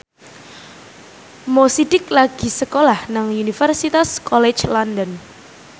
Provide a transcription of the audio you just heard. Mo Sidik lagi sekolah nang Universitas College London